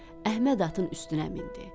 Əhməd atın üstünə mindi.